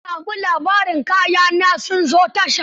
Na sami labarin kaya na sun zo tasha.